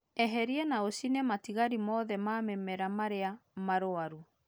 Eheria na ũcine matigari mothe ma mimera marĩa marũaru